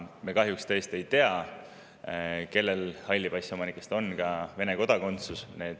Me kahjuks tõesti ei tea, kellel halli passi omanikest on ka Vene kodakondsus.